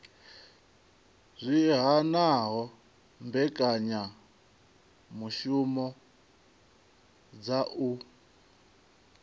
zwi hanaho mbekanyamishumo dza u